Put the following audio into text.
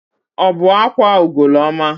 Ọ bụ akwa Ugoloọma?